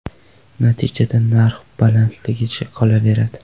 Natijada narx balandligicha qolaveradi.